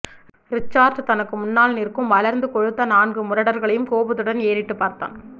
Richard தனக்கு முன்னால் நிற்கும் வளர்ந்து கொழுத்த நான்கு முரடர்களையும் கோபத்துடன் ஏறிட்டுப் பார்த்தான்